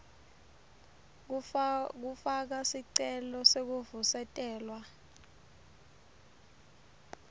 kufaka sicelo sekuvusetelwa